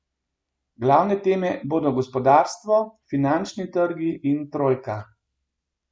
Glavne teme bodo gospodarstvo, finančni trgi in trojka.